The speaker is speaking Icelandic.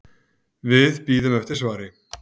Við bíðum eftir svari.